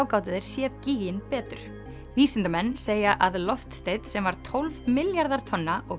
gátu þeir séð betur vísindamenn segja að loftsteinn sem var tólf milljarðar tonna og